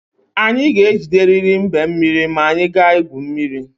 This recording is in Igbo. Anyị ga-egideriri mbe mmiri ma anyị gaa igwu mmiri.